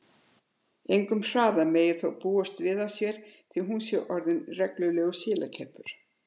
Engum hraða megi þó búast við af sér því hún sé orðin reglulegur silakeppur.